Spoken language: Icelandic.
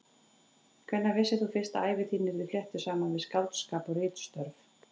Hvenær vissir þú fyrst að ævi þín yrði fléttuð saman við skáldskap og ritstörf?